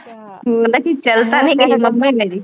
ਉਹ ਕਹਿੰਦਾ ਕਿਤੇ ਚਲ ਤਾ ਨਹੀਂ ਮੰਮੀ ਮੇਰੀ